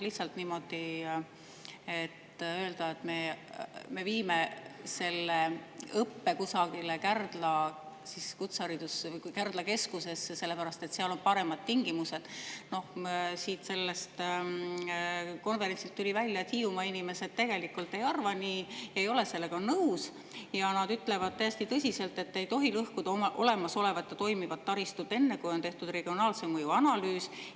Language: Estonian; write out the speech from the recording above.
Lihtsalt niimoodi öelda, et me viime selle õppe kusagile Kärdla keskusesse, sellepärast et seal on paremad tingimused – no sellel konverentsil tuli välja, et Hiiumaa inimesed tegelikult ei arva nii, ei ole sellega nõus ja ütlevad täiesti tõsiselt, et ei tohi lõhkuda olemasolevat ja toimivat taristut enne, kui on tehtud regionaalse mõju analüüs.